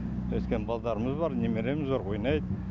өйткені балдарымыз бар немереміз бар ойнайды